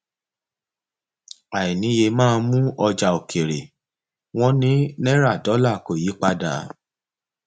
àìníye máa mú ọjà òkèèrè wọn ní náírà dọlà kò yí padà